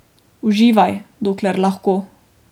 Uživaj, dokler lahko.